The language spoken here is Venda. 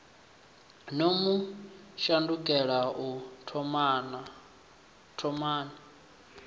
no mu shandukela u thomani